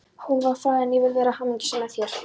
Hún varð fræg en ég vil vera hamingjusöm, með þér.